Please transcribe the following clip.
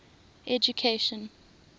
education